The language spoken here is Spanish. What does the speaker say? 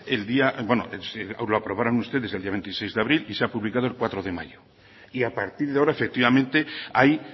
el día bueno lo aprobaron ustedes el día veintiséis de abril y se ha publicado el cuatro de mayo y a partir de ahora efectivamente hay